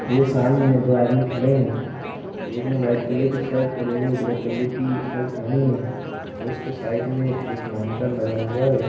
ये सामने दो आदमी खड़े है एक ने वाइट कलर की शर्ट और एक ने ब्लैक कलर की शर्ट पेहनी है और उसके साइड एक मॉनिटर लगा हुआ है।